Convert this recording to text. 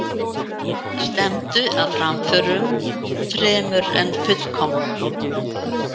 Stefndu að framförum fremur en fullkomnun.